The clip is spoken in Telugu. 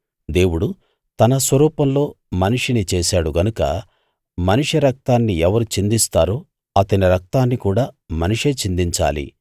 దేవుడు తన స్వరూపంలో మనిషిని చేశాడు గనుక మనిషి రక్తాన్ని ఎవరు చిందిస్తారో అతని రక్తాన్ని కూడా మనిషే చిందించాలి